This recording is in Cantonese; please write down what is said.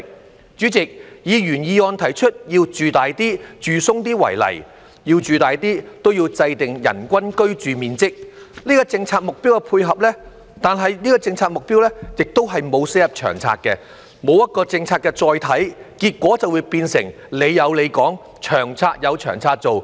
代理主席，以原議案提出要"住大啲、住鬆啲"為例，要"住大啲"便要制訂人均居住面積這個政策目標的配合，但這個政策目標並沒有寫入《長策》，沒有一個政策的"載體"，結果便變成"你有你講"，《長策》有《長策》做。